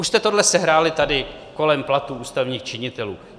Už jste tohle sehráli tady kolem platů ústavních činitelů.